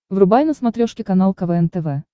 врубай на смотрешке канал квн тв